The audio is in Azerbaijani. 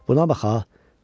Buna bax ha!